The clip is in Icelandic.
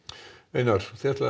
einar þið ætlið að